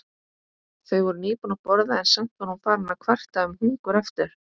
Þau voru nýbúin að borða en samt var hún farin að kvarta um hungur aftur.